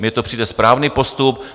Mně to přijde správný postup.